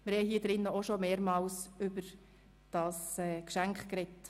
Wir haben auch hier im Rat bereits mehrmals über dieses Geschenk gesprochen.